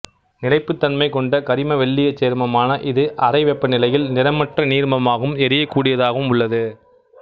நிலைப்புத் தன்மை கொண்ட கரிமவெள்ளீயச் சேர்மமான இது அறை வெப்பநிலையில் நிறமற்ற நீர்மமாகவும் எரியக்கூடியதாகவும் உள்ளது